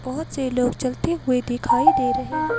बहुत से लोग चलते हुए दिखाई दे रहे हैं।